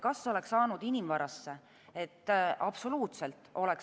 Kas oleks saanud inimvarasse?